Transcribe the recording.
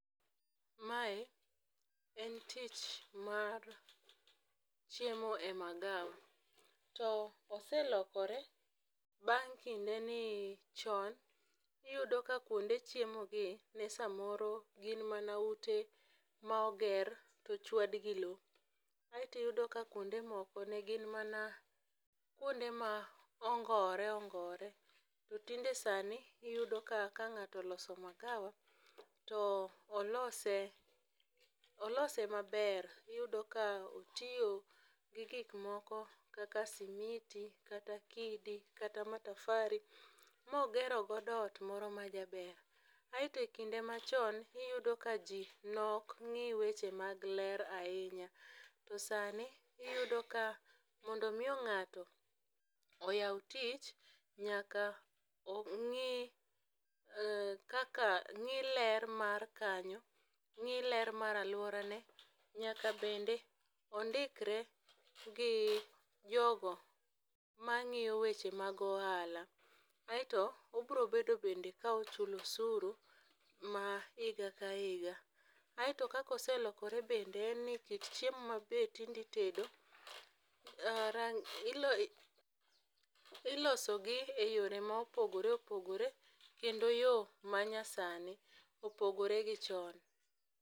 Mae en tich mar chiemo e magawa. To eselokore bang' kinde ni chon ne iyudo ka kuonde chiemo gi ne samoro gin mana ute ma oger to ochwad gi lowo. Aeto iyudo ka kuonde moko ne gin mana kuonde ma ongore ongore. To tinde sani iyudo ka ka ng'ato oloso magawa, to olose, olose maber, iyudo ka otiyo gi gik moko kaka simiti kata kidi, kata matafari ma ogero godo ot moro majaber. Aeto kinde machon, niyudo ka ji ne ok ng'i weche mag ler ahinya. To sani, iyudo ka mondo miyo ng'ato oyaw tich nyaka ong'i um kaka ng'i ler mar kanyo, ng'i ler mar alworane, nyaka bende ondikre gi jogo mang'iyo weche mag ohala. Aeto obiro bedo bende ka ochulo osuru mar higa ka higa. Aeto kaka oselokore bende en ni kit chiemo ma be tinde itedo, um iloso gi e yore ma opogore opogore, kendo yo manyasani opogore gi chon.